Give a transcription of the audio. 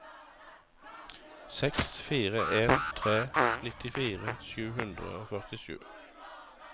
seks fire en tre nittifire sju hundre og førtisju